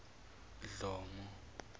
dlomo